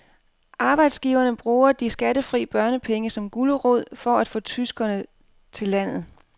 Arbejdsgiverne bruger de skattefri børnepenge som gulerod for at få tyskere til landet.